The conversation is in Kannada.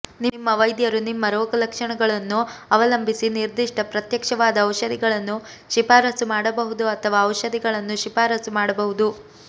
ನಿಮ್ಮ ವೈದ್ಯರು ನಿಮ್ಮ ರೋಗಲಕ್ಷಣಗಳನ್ನು ಅವಲಂಬಿಸಿ ನಿರ್ದಿಷ್ಟ ಪ್ರತ್ಯಕ್ಷವಾದ ಔಷಧಿಗಳನ್ನು ಶಿಫಾರಸು ಮಾಡಬಹುದು ಅಥವಾ ಔಷಧಿಗಳನ್ನು ಶಿಫಾರಸು ಮಾಡಬಹುದು